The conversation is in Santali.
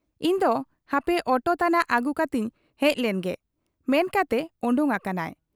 ᱤᱧᱫᱚ ᱦᱟᱯᱮ ᱚᱴᱳ ᱛᱟᱱᱟᱜ ᱟᱹᱜᱩ ᱠᱟᱛᱮᱧ ᱦᱮᱡ ᱞᱮᱱ ᱜᱮ' ᱢᱮᱱ ᱠᱟᱛᱮ ᱚᱰᱚᱠ ᱟᱠᱟᱱᱟᱭ ᱾